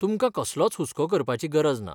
तुमकां कसलोच हुसको करपाची गरज ना.